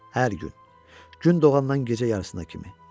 Hər gün gün doğandan gecə yarısına kimi.